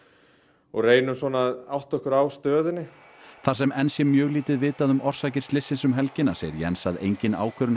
og reynum að átta okkur á stöðunni þar sem enn sé mjög lítið vitað um orsakir slyssins um helgina segir Jens að engin ákvörðun